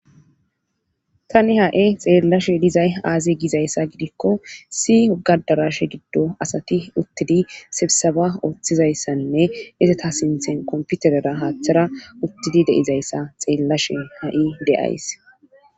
tani ha7i xeellashe dizay aazi gizayssa gidikko si ogadarashe giddo asati uttidi sebsaba ooththizayssanne iseta sinthen komputerera haaththara uttidi deizayssa xeellashe ha7i de7ays